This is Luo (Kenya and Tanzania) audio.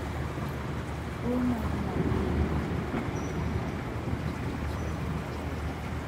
Tuo mar nyaldiema ne omaka ka awuok chamo chiemb jochadi.